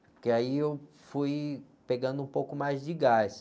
Porque aí eu fui pegando um pouco mais de gás.